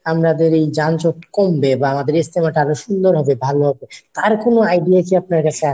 আপনাদের এই যানজট কমবে বা আমাদের এই ইজতেমা টা আরও সুন্দর হবে ভালো হবে আর কোনো idea কি আপনার কাছে আসে?